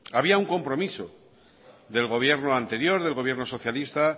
había un compromiso del gobierno anterior del gobierno socialista